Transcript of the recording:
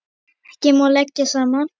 Ekki má leggja saman.